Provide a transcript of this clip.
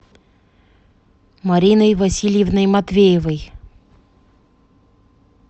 мариной васильевной матвеевой